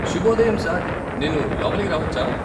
శుభోదయం సార్, నేను లోపలికి రావచ్చా?